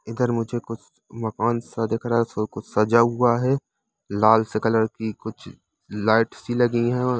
इधर मुझे कुछ मकान सा दिख रहा है इसमें कुछ सजा हुआ है लाल से कलर की कुछ लाइट सी लगी है ओ--